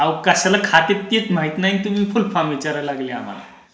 आवं कसलं खातं त्येच माहित नाही आणि तुम्ही फुल फॉर्म विचारायला लागलेत आम्हाला.